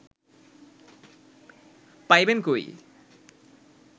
পাইবেন কই